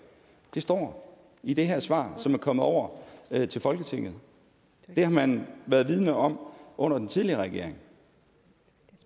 står i det her svar som er kommet over til folketinget det har man været vidende om under den tidligere regering